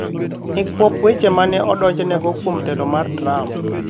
nikwop weche ma ne odonjnego kuom telo mar Trump.